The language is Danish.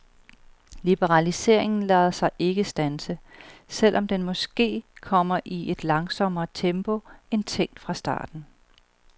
Liberaliseringen lader sig ikke standse, selv om den måske kommer i et langsommere tempo end tænkt fra starten.